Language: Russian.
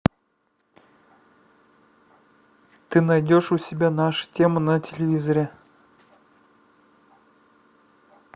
ты найдешь у себя нашу тему на телевизоре